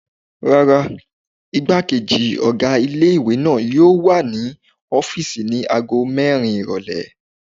Rárá, igbákejì ọ̀gá ilé-ìwé náà yóò wà ní ọ́fìsì ní ago mẹ́rin ìrọ̀lẹ́